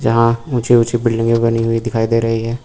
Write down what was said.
जहां ऊंची ऊंची बिल्डिंगे बनी हुई दिखाई दे रही है।